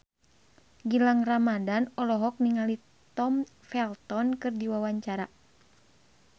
Gilang Ramadan olohok ningali Tom Felton keur diwawancara